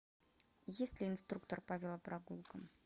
есть ли инструктор по велопрогулкам